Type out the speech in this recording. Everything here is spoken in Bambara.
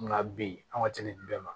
Nka bi an ka se nin bɛɛ ma